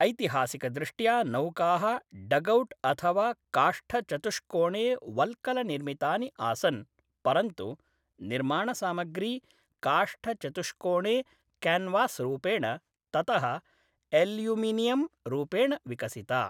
ऐतिहासिकदृष्ट्या नौकाः डगौट् अथवा काष्ठचतुष्कोणे वल्कलनिर्मितानि आसन्, परन्तु निर्माणसामग्री काष्ठचतुष्कोणे क्यानवासरूपेण, ततः एल्युमिनियमरूपेण विकसिता